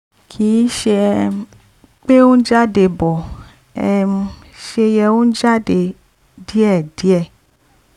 kìí ṣe um pé ó ń jáde bó um ṣe yẹ ó ń jáde díẹ̀díẹ̀